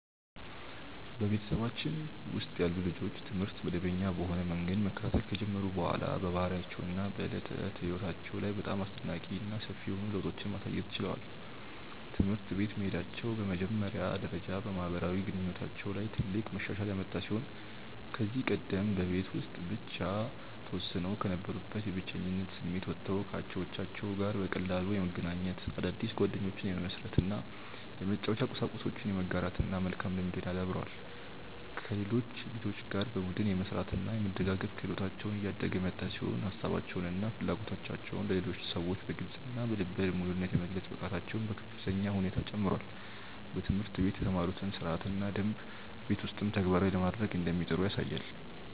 በቤተሰባችን ውስጥ ያሉ ልጆች ትምህርት መደበኛ በሆነ መንገድ መከታተል ከጀመሩ በኋላ በባህሪያቸው እና በዕለት ተዕለት ሕይወታቸው ላይ በጣም አስደናቂ እና ሰፊ የሆኑ ለውጦችን ማሳየት ችለዋል። ትምህርት ቤት መሄዳቸው በመጀመሪያ ደረጃ በማህበራዊ ግንኙነታቸው ላይ ትልቅ መሻሻል ያመጣ ሲሆን ከዚህ ቀደም በቤት ውስጥ ብቻ ተወስነው ከነበሩበት የብቸኝነት ስሜት ወጥተው ከአቻዎቻቸው ጋር በቀላሉ የመገናኘት፣ አዳዲስ ጓደኞችን የመመስረት እና የመጫወቻ ቁሳቁሶችን የመጋራት መልካም ልምድን አዳብረዋል። ከሌሎች ልጆች ጋር በቡድን የመስራት እና የመደጋገፍ ክህሎታቸው እያደገ የመጣ ሲሆን ሀሳባቸውን እና ፍላጎቶቻቸውን ለሌሎች ሰዎች በግልፅ እና በልበ ሙሉነት የመግለጽ ብቃታቸውም በከፍተኛ ሁኔታ ጨምሯል። በትምህርት ቤት የተማሩትን ሥርዓትና ደንብ ቤት ውስጥም ተግባራዊ ለማድረግ እንደሚጥሩ ያሳያል።